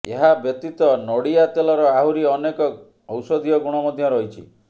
ଏହା ବ୍ୟତୀତ ନଡ଼ିଆ ତେଲର ଆହୁରି ଅନେକ ଔଷଧୀୟ ଗୁଣ ମଧ୍ୟ ରହିଛି